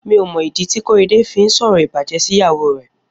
Mi ó mọ idi ti Korede fi n sọrọ ibàjẹ̀ si ìyáwó rẹ